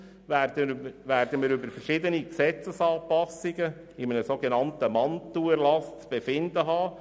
Dann werden wir über verschiedene Gesetzesanpassungen in einem sogenannten Mantelerlass zu befinden haben.